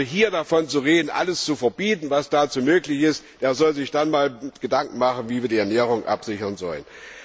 Wer hier davon redet, alles zu verbieten, was dazu möglich ist, der soll sich dann einmal Gedanken machen, wie wir die Ernährung absichern sollen!